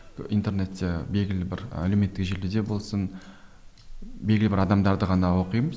интернетте белгілі бір әлеуметтік желіде болсын белгілі бір адамдарды ғана оқимын